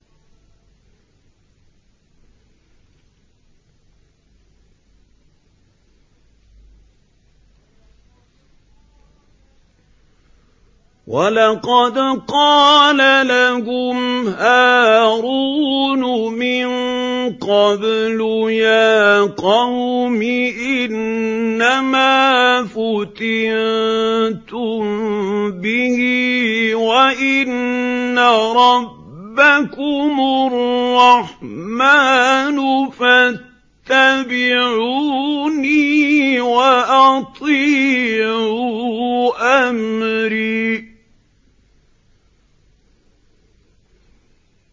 وَلَقَدْ قَالَ لَهُمْ هَارُونُ مِن قَبْلُ يَا قَوْمِ إِنَّمَا فُتِنتُم بِهِ ۖ وَإِنَّ رَبَّكُمُ الرَّحْمَٰنُ فَاتَّبِعُونِي وَأَطِيعُوا أَمْرِي